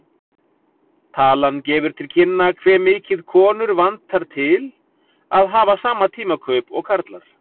Talan gefur til kynna hve mikið konur vantar til að hafa sama tímakaup og karlar.